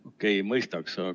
Okei, mõistaks!